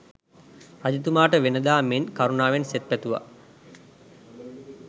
රජතුමාට වෙනදා මෙන් කරුණාවෙන් සෙත් පැතුවා.